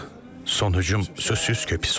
Son hücum sözsüz ki, pis oldu.